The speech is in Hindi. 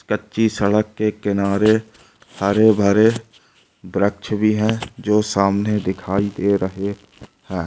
कच्ची सड़क के किनारे हरे भरे व्रक्ष भी हैं जो सामने दिखाई दे रहे हैं।